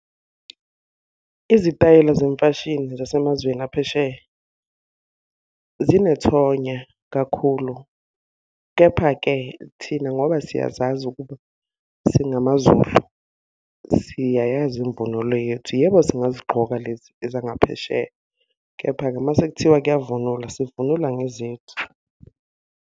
Izitayela zemfashini zasemazweni aphesheya, zinethonya kakhulu. Kepha-ke thina ngoba siyazazi ukuba singamaZulu, siyayazi imvunulo yethu. Yebo singazigqoka lezi ezangaphesheya, kepha-ke uma sekuthiwa kuyavunulwa, sivunula ngezethu.